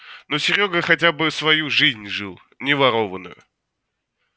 но серёга хотя бы свою жизнь жил не ворованную